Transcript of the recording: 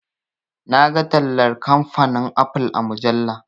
Na ga tallar kamfanin"apple"a mujalla.